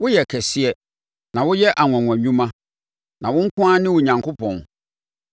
Woyɛ kɛseɛ, na woyɛ anwanwa nnwuma; wo nko ara ne Onyankopɔn.